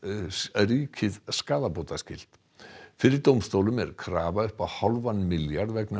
ríkið skaðabótaskylt fyrir dómstólum er krafa upp á hálfan milljarð vegna